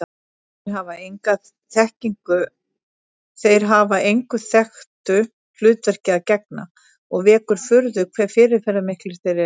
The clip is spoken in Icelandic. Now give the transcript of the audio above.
Þeir hafa engu þekktu hlutverki að gegna og vekur furðu hve fyrirferðarmiklir þeir eru.